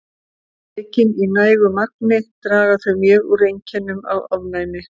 Tekin í nægu magni draga þau mjög úr einkennum af ofnæmi.